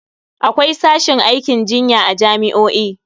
Akwai sashin aikin jinya a jami'o'i.